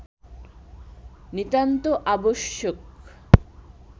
নিতান্ত আবশ্যক